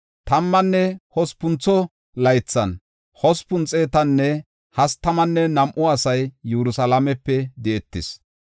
Tammanne hospuntho laythan hospun xeetanne hastamanne nam7u asay Yerusalaamepe di7etis.